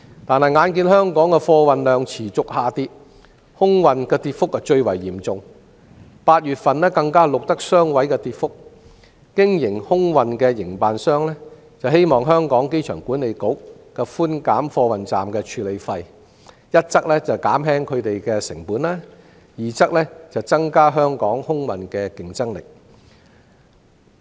可是，眼見香港的貨運量持續下跌，當中以空運跌幅最為嚴重 ，8 月份更錄得雙位數字跌幅，空運營辦商希望香港機場管理局寬減貨運站的處理費，一則減輕他們的成本，二則增加香港空運的競爭力。